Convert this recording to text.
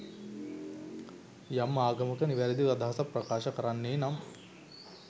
යම් ආගමක නිවැරදි අදහසක් ප්‍රකාශ කරන්නේ නම්